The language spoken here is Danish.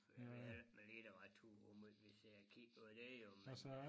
Jeg ved heller ikke med litteratur hvor meget vi sidder og kigger på det jo men øh